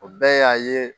O bɛɛ y'a ye